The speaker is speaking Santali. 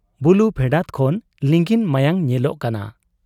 ᱵᱩᱞᱩ ᱯᱷᱮᱰᱟᱛ ᱠᱷᱚᱱ ᱞᱤᱸᱜᱤᱱ ᱢᱟᱭᱟᱝ ᱧᱮᱞᱚᱜᱚᱜ ᱠᱟᱱᱟ ᱾